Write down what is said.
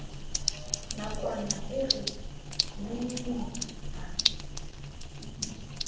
nakwana e re nengneng a